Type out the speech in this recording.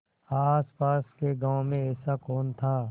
आसपास के गाँवों में ऐसा कौन था